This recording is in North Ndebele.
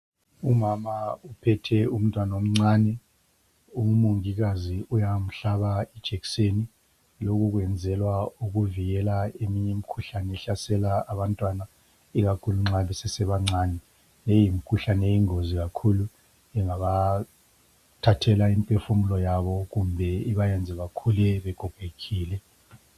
Umama uphethe umntwana omncane, umongikazi uyamhlaba ijekiseni. Lokhu kwenzelwa ukuvikela eminye imikhuhlane ehlasela abantwana ikakhulu nxa besesebancane. Leyi imikhuhlane iyingozi kakhulu, ingabathathela imphefumulo yabo, kumbe ibayenze bakhule bekhophetshile.